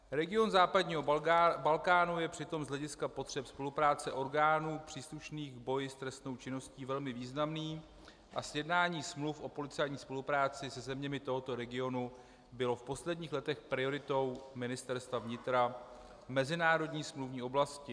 Region západního Balkánu je přitom z hlediska potřeb spolupráce orgánů příslušných v boji s trestnou činností velmi významný a sjednání smluv o policejní spolupráci se zeměmi tohoto regionu bylo v posledních letech prioritou Ministerstva vnitra v mezinárodní smluvní oblasti.